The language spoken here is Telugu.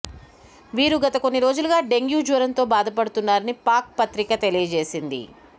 వీరు గత కొన్ని రోజులుగా డెంగ్యూ జ్వరంతో బాధపడుతున్నారని పాక్ పత్రిక తెలియజేసింది